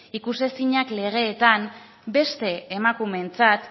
ikusezinak legeetan beste emakumeentzat